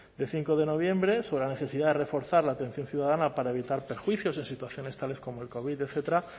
de cinco de noviembre sobre la necesidad de reforzar la atención ciudadana para evitar perjuicios en situaciones tales como el covid etcétera